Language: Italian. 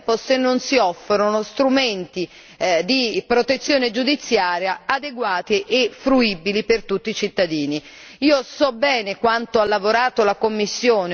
e di protezione e, allo stesso tempo, se non si offrono strumenti di protezione giudiziaria adeguati e fruibili per tutti i cittadini.